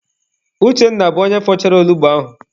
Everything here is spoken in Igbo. Uchenna bụ onye fọchara onugbu ahụ.